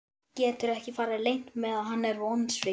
Getur ekki farið leynt með að hann er vonsvikinn.